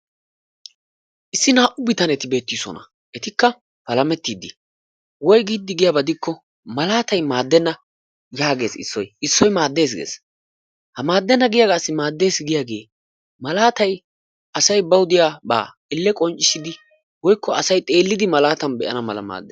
Issi 2u bitaneti beettiisona. Etikka palamettiiddi, woygiiddi giyaba keena gidikko malaatay maaddenna yaagees issoy. Issoy maaddenna gees. Ha maaddenna giyagaassi maaddees giyagee malaatay asay bawu diyaba malaataa xeellidi qonccissanaassi maaddees giidi ,,,